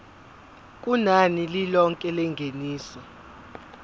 kunani lilonke lengeniso